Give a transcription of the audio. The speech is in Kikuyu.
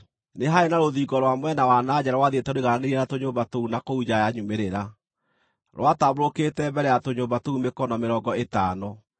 Nĩ haarĩ na rũthingo rwa mwena wa na nja rwathiĩte rũigananĩirie na tũnyũmba tũu na kũu nja ya nyumĩrĩra; rwatambũrũkĩte mbere ya tũnyũmba tũu mĩkono mĩrongo ĩtano.